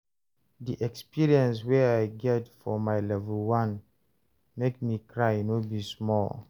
di experience way I get for my level 1 make me cry no be small